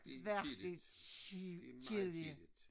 Virkelig kedelige